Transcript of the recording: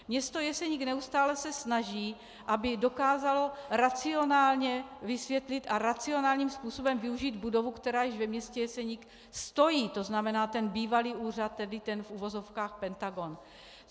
Město Jeseník se neustále snaží, aby dokázalo racionálně vysvětlit a racionálním způsobem využít budovu, která již ve městě Jeseník stojí, to znamená ten bývalý úřad, tedy ten v uvozovkách Pentagon.